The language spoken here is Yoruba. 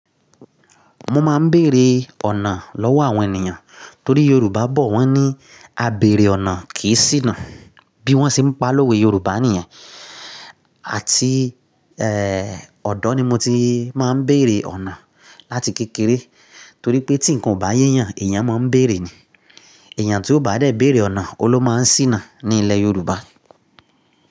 Mo máa ń bèrè ọ̀nà lọ́wọ́ àwọn ènìyàn torí Yorùbá bọ̀ wọ́n ní "a bèrè ọ̀nà kì í ṣìnà" bí wọ́n ṣe ń pa lówe Yorùbá nìyẹn. Àti, eh, ọ̀dọ́ ni mo ti máa ń bèrè ọ̀nà láti kékeré torí pé tí nǹkan ò bá yé ènìyàn, èèyàn máa ń bèrè ni. Èèyàn tí ó bá dẹ̀ bèrè ọ̀nà, ọun ló máa ń ṣìnà ní ilẹ̀ Yorùbá.